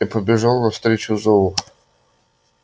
я побежал навстречу зову